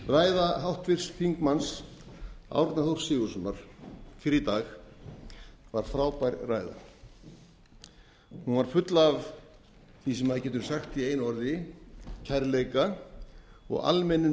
ræða háttvirtum þingmanni árna þórs sigurðssonar fyrr í dag var frábær ræða hún var full af því sem maður getur sagt í einu orði kærleika og almennum